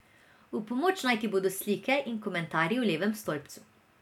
V pomoč naj ti bodo slike in komentarji v levem stolpcu.